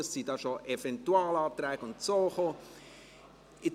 es gingen schon Eventualanträge und Ähnliches ein.